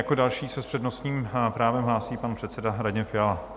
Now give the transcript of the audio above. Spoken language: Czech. Jako další se s přednostním právem hlásí pan předseda Radim Fiala.